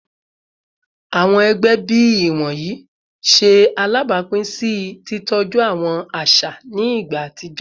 Awọn ẹgbẹ bii iwọnyi ṣe alabapin si titọju awọn aṣa aṣa ni igba atijọ